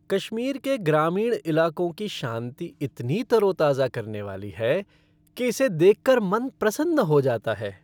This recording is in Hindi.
कश्मीर के ग्रामीण इलाकों की शांति इतनी तरोताजा करने वाली है कि इसे देख कर मन प्रसन्न हो जाता है।